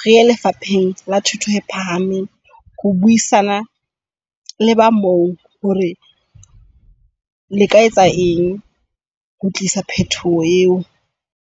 re ye lefapheng la thuto e phahameng. Ho buisana le ba moo hore le ka etsa eng ho tlisa phethoho eo.